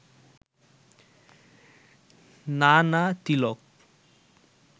না না তিলক